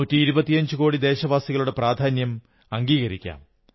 നൂറ്റിയിരുപത്തിയഞ്ചു കോടി ദേശവാസികളുടെ പ്രാധാന്യം അംഗീകരിക്കാം